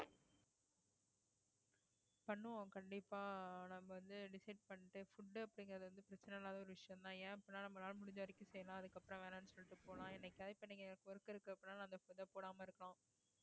பண்ணுவோம் கண்டிப்பா நம்ம வந்து decide பண்ணிட்டு food அப்படிங்கறது வந்து பிரச்சனை இல்லாத ஒரு விஷயம்தான் ஏன் அப்படின்னா நம்மளால முடிஞ்ச வரைக்கும் செய்யலாம் அதுக்கு அப்புறம் வேணாம்ன்னு சொல்லிட்டு போலாம் என்னைக்காவது இப்ப நீங்க work இருக்கு அப்பிடின்னா அந்த food போடாம இருக்கலாம்